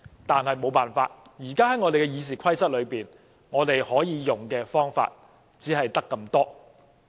但沒有辦法，現時根據《議事規則》，可以使用的方法只有這兩項。